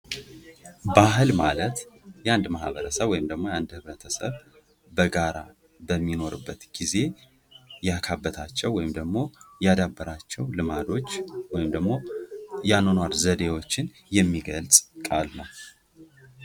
ባህል ማለት የአንድ ማህበረሰብ ወይም ደግሞ የአንድ ቤተሰብ በሚኖርበት ጊዜ ያ ከአባታቸው ወይም ደግሞ ያዳብራቸው ልማዶች ወይም ደግሞ እያኗኗር ዘዴዎችን የሚገልጽ ቃል ነው ::